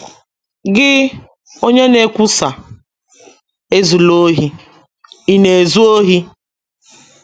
Gị, onye na - ekwusa ‘ Ezula ohi, ’ ị̀ na - ezu ohi?